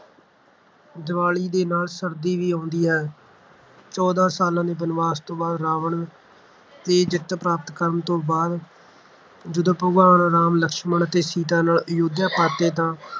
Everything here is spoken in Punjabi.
ਦੀਵਾਲੀ ਦੇ ਨਾਲ ਸਰਦੀ ਵੀ ਆਉਂਦੀ ਹੈ। ਚੌਦਾਂ ਸਾਲਾਂ ਦੇ ਬਨਵਾਸ ਤੋਂ ਬਾਅਦ ਰਾਵਣ ਤੇ ਜਿੱਤ ਪ੍ਰਾਪਤ ਕਰਨ ਤੋਂ ਬਾਅਦ ਜਦੋਂ ਭਗਵਾਨ ਰਾਮ ਲਕਸ਼ਮਣ ਅਤੇ ਸੀਤਾ ਨਾਲ ਅਯੁੱਧਿਆ ਪਰਤੇ ਤਾਂ